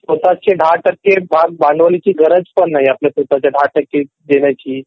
स्वत:चे १० टक्के भांडवल ठेवायची पण गरज नाही स्वतचे १० टक्के देण्याची